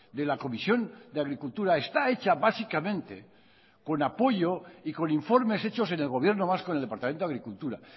de la comisión de agricultura está hecha básicamente con apoyo y con informes hechos en el gobierno vasco en el departamento de agricultura